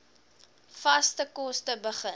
vaste kos begin